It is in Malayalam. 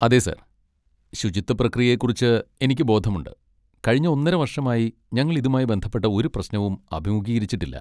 അതെ സർ, ശുചിത്വ പ്രക്രിയയെക്കുറിച്ച് എനിക്ക് ബോധമുണ്ട്, കഴിഞ്ഞ ഒന്നര വർഷമായി ഞങ്ങൾ ഇതുമായി ബന്ധപ്പെട്ട ഒരു പ്രശ്നവും അഭിമുഖീകരിച്ചിട്ടില്ല.